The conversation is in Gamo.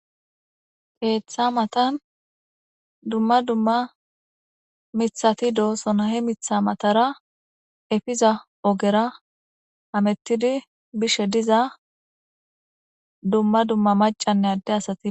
Ketha matan duma duma mithati de'osona he mitha matara efiza ogera hametidi bishe diza duma duma mac'anne adde asati.